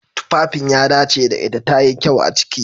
Tufafin ya dace da ita. tayi kyau a ciki.